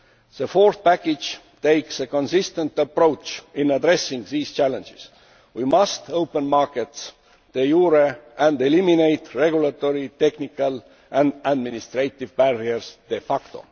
The fourth package takes a consistent approach in addressing these challenges we must open markets de jure and eliminate regulatory, technical and administrative barriers de facto